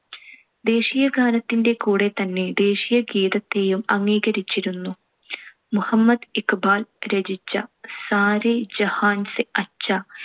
ദേശീയഗാനത്തിന്‍റെ കൂടെ തന്നെ ദേശീയഗീതത്തേയും അംഗീകരിച്ചിരുന്നു. മുഹമ്മദ് ഇക്‌ബാൽ രചിച്ച സാരെ ജഹാൻ സെ അച്ഛാ